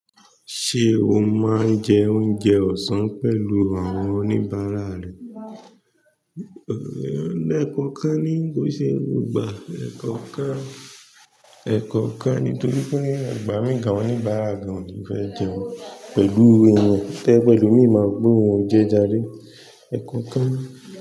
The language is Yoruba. Ṣé o máa ń jẹ oúnjẹ ọ̀sán pẹ̀lú àwọn oníbàárà rẹ? Ẹ̀kọ̀kan ni kò ṣe gbogbo gbà. Ẹ̀kọ̀kan, ẹ̀kọ̀kan ni torí pé ìgbà mi gàn àwọn òníbàárà gan o ni fẹ́ jẹun pẹ̀lú ẹran, tẹ jẹ pe ẹlòmi máa wò pé oún jẹ járe, ẹ̀kọ̀kan ni.